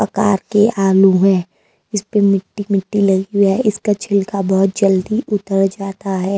आकार के आलू हैं इस पे मिट्टी मिट्टी लगी हुई है इसका छिलका बहुत जल्दी उतर जाता है।